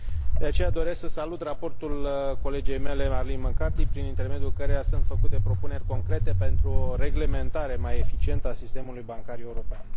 De aceea, doresc să salut raportul colegei mele Arlene McCarthy prin intermediul căruia sunt făcute propuneri concrete pentru o reglementare mai eficientă a sistemului bancar european.